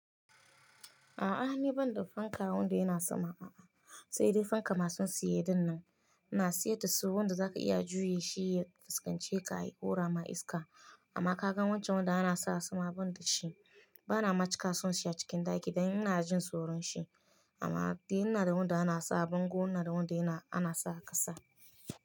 A'a ni ban da fanka wanda yana sama a'a, sai dai fanka masu siye dinnan, ina siyar da su wanda za ka iya juye shi ya fuskance ka yi ƙura ma iska. Amma ka gan wancan wanda ana sa a sama ban da shi, bana ma cika son siya cikin ɗaki dan ina jin tsoron shi. Amma dai ina da wanda ana sa a bango ina da wanda ana sa a ƙasa.